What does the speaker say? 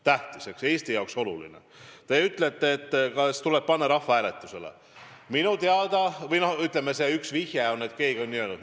Te küsite, kas see tuleb panna rahvahääletusele, või, ütleme, keegi on selle välja pakkunud.